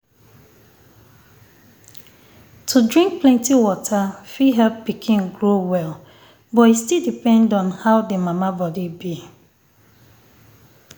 to drink plenty water fit help pikin grow well but e still depend on how the mama body be.